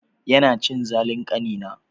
Yana cin zalin ƙanina.